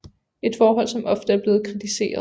Et forhold som ofte er blevet kritiseret